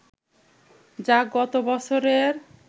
যা গত বছরের